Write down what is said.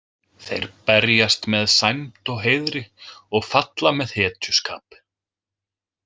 Þeir berjast með sæmd og heiðri og falla með hetjuskap.